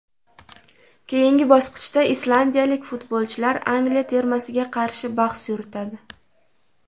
Keyingi bosqichda islandiyalik futbolchilar Angliya termasiga qarshi bahs yuritadi .